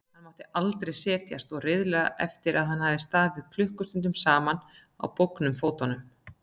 Hann mátti aldrei setjast og riðaði eftir að hafa staðið klukkustundum saman á bólgnum fótum.